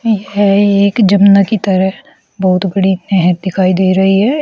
यह एक जमुना की तरह बहुत बड़ी नहर दिखाई दे रही है।